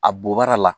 A bobara la